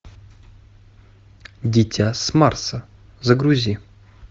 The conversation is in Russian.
дитя с марса загрузи